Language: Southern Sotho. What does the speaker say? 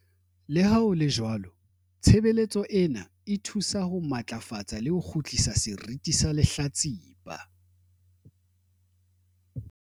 "Le ha ho le jwalo, tshebeletso ena e thusa ho matlafatsa le ho kgutlisa seriti sa lehlatsipa."